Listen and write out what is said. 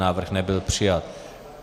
Návrh nebyl přijat.